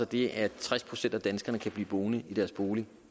det at tres procent af danskerne kan blive boende i deres bolig